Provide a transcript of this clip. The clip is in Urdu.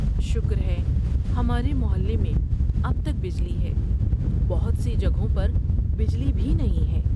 شکر ہے ہمارے محلے میں اب تک بجلی ہے، بہت سی جگہوں پر بجلی بھی نہیں ہے۔